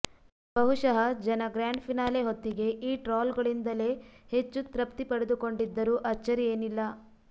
ಬಹುಶಃ ಜನ grand finale ಹೊತ್ತಿಗೆ ಈ ಟ್ರಾಲ್ ಗಳಿಂದಲೇ ಹೆಚ್ಚು ತೃಪ್ತಿ ಪಡೆದುಕೊಂಡಿದ್ದರೂ ಆಚ್ಚರಿಯೇನಿಲ್ಲ